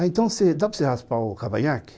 Ah, então dá para você raspar o cavanhaque?